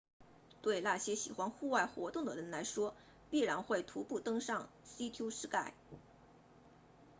对那些喜欢户外活动的人来说必然会徒步登上 sea to sky